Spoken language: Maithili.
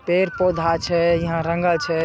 पेड़-पौधा छै ईहा रंगल छै।